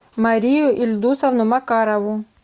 марию ильдусовну макарову